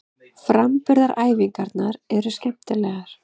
Framburðaræfingarnar eru skemmtilegar.